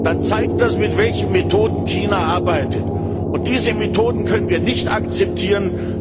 dann zeigt das, mit welchen Methoden China arbeitet. Diese Methoden können wir nicht akzeptieren.